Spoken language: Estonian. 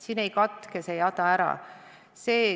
See jada ei katke.